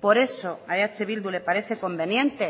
por eso a eh bildu le parece conveniente